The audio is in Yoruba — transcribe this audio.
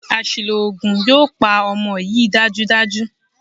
Àṣìlò oògùn yóò pa ọmọ yìí dájúdájú.